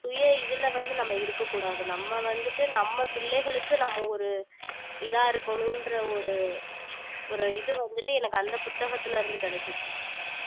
சுய இதுல வந்து நம்ம இருக்கக் கூடாது நம்ம வந்துட்டு நம்ம பிள்ளைகளுக்கு நம்ம ஒரு இதா இருக்கணுன்ற ஒரு ஒரு இது வந்துட்டு எனக்கு அந்த புத்தகத்துல இருந்து கிடைச்சுச்சு